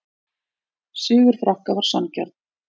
Sigur Frakka var sanngjarn